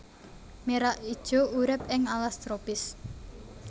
Merak ijo urip ing alas tropis